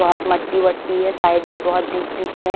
बहुत मट्टी-वट्टी है साइड में बहुत बीच-बीच में--